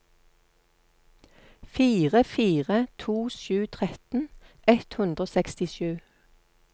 fire fire to sju tretten ett hundre og sekstisju